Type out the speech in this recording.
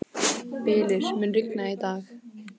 Bylur, mun rigna í dag?